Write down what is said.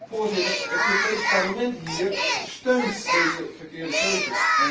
Voorzitter, het Europees Parlement steunt deze verkeerde keuzes.